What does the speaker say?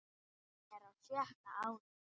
Hann er á sjötta árinu.